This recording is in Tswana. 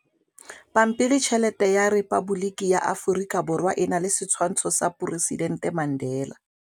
Pampiritšheletê ya Repaboliki ya Aforika Borwa e na le setshwantshô sa poresitentê Mandela.